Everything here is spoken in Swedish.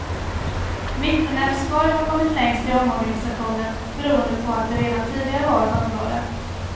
Mittenälvsborg har kommit längst i omorganisationen beroende på att det redan tidigare var ett område.